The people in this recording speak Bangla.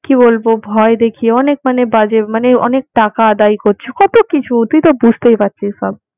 কি বলব ভয় দেখিয়ে অনেক মানে বাজে মানে অনেক টাকা আদায় করছে, কতকিছু তুই তো বুঝতেই পারছিস সব।